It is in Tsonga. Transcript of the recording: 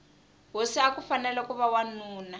hosi akufanele kuva wanuna